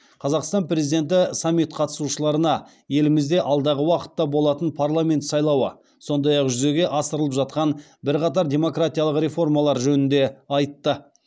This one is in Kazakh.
қазақстан президенті саммит қатысушыларына елімізде алдағы уақытта болатын парламент сайлауы сондай ақ жүзеге асырылып жатқан бірқатар демократиялық реформалар жөнінде айтты